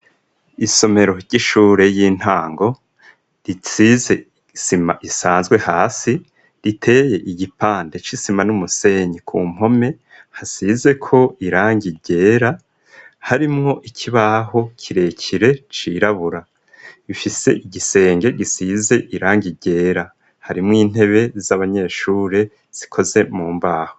Isomero ry'ishure y'intango risize sima isanzwe hasi riteye igipande cisima n'umusenyi ku mpome hasize ko irangi ryera harimwo ikibaho kirekire cirabura bifise igisenge gisize irangi ryera harimwo intebe z'abanyeshure zikozwe mu mbaho.